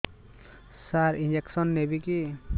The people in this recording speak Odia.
ସାର ଇଂଜେକସନ ନେବିକି